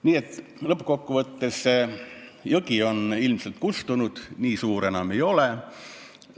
Nii et lõppkokkuvõttes, jõgi on ilmselt kuivanud, nii suur enam ei ole.